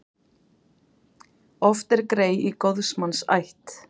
Oft er grey í góðs manns ætt.